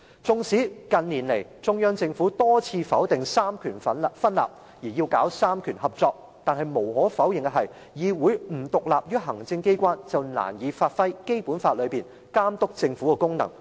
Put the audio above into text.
縱使近年中央政府多次否定"三權分立"，要搞"三權合作"，但無可否認的是，議會不獨立於行政機關便難以發揮《基本法》內監督政府的功能。